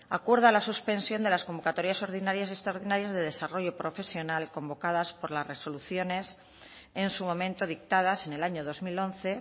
acuerda la suspensión de las convocatorias ordinarias y extraordinarias de desarrollo profesional convocadas por las resoluciones en su momento dictadas en el año dos mil once